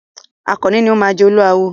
Àkànní ni o máa jẹ Olúawo.